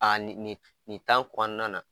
ni nin nin kɔɔna na